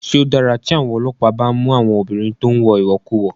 Ṣé ó dára tí àwọn ọlọ́pàá bá ń mú àwọn obìnrin tó ń wọ ìwọ̀kuwọ̀?